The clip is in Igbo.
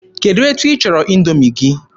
Kedụ etu ịchọrọ Indoomi gị?